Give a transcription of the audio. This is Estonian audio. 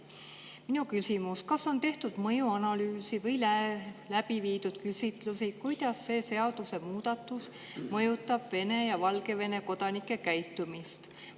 Minu küsimus: kas on tehtud mõjuanalüüsi või läbi viidud küsitlusi, kuidas see seadusemuudatus mõjutab Vene ja Valgevene kodanike käitumist?